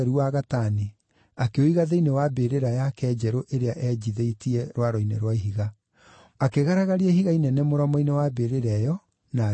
akĩũiga thĩinĩ wa mbĩrĩra yake njerũ ĩrĩa eenjithĩtie rwaro-inĩ rwa ihiga. Akĩgaragaria ihiga inene mũromo-inĩ wa mbĩrĩra ĩyo, na agĩĩthiĩra.